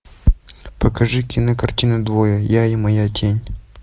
покажи кинокартину двое я и моя тень